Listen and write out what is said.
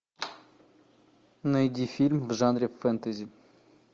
найди фильм в жанре фэнтези